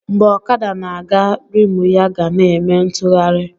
Mgbe ọkada na-aga, rimụ ya ga na-eme ntụgharị